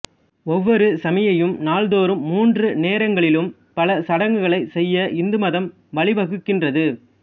ஒவ்வொரு சமயியும் நாள்தாேறும் மூன்று நேரங்களிலும் பல சடங்குகளை செய்ய இந்து மதம் வழிவகுக்கின்றது